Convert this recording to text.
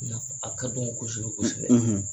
Nka a ka d'a ye kosɛbɛ kosɛbɛ